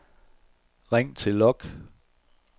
ring til log